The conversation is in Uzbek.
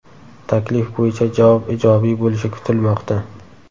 Taklif bo‘yicha javob ijobiy bo‘lishi kutilmoqda.